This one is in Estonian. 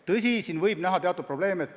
Tõsi, võib näha teatud probleeme.